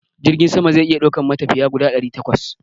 Jirgin sama zai iya daukan matafiya guda ɗari takwas